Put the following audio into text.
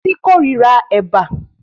Títí kórira Ẹ̀bà